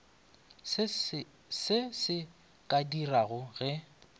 se se ka direga ge